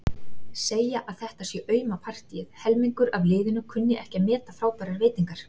Segja að þetta sé auma partíið, helmingurinn af liðinu kunni ekki að meta frábærar veitingar.